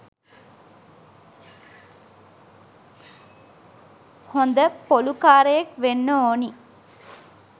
හොද පොලු කාරයෙක් වෙන්න ඕනි